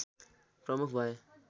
प्रमुख भए